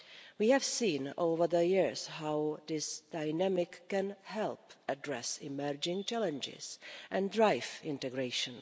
We have seen over the years how this dynamic can help address emerging challenges and drive integration.